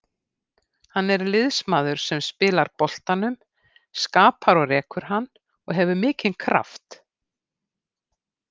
Hann er liðsmaður sem spilar boltanum, skapar og rekur hann og hefur mikinn kraft.